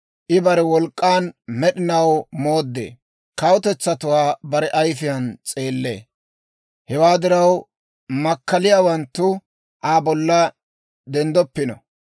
I bare wolk'k'an med'inaw mooddee. Kawutetsatuwaa bare ayifiyaan s'eellee; hewaa diraw, makkaliyaawanttu Aa bolla denddoppino.